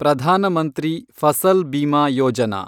Pradhan Mantri Fasal Bima Yojana